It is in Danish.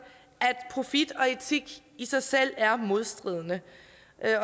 at profit og etik i sig selv er modstridende